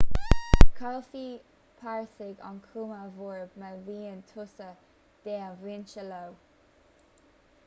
caillfidh párasaigh an chuma bhorb má bhíonn tusa dea-mhúinte leo